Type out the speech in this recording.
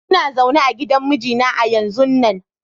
lna zaune a gidan mijina a yanzun nan.